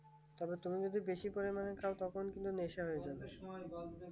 তবে তুমি বেশি পরিমাণ খাও তখন তুমি নেশা হয়ে যাবে